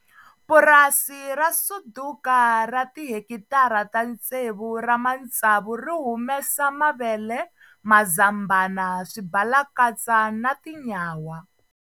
Purasi ra Suduka ra tihekitara ta tsevu ra matsavu ri humesa mavele, mazambhana, swibalakatsa na tinyawa.